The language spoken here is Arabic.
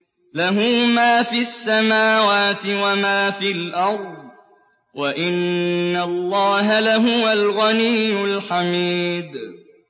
لَّهُ مَا فِي السَّمَاوَاتِ وَمَا فِي الْأَرْضِ ۗ وَإِنَّ اللَّهَ لَهُوَ الْغَنِيُّ الْحَمِيدُ